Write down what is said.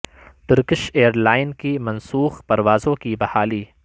Turkish airline کی منسوخ پروازوں کی بحالی